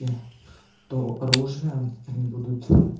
е то оружие они будут